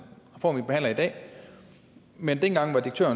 reform vi behandler i dag men dengang var det